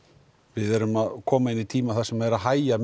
við erum að koma inn í tíma þar sem er að hægja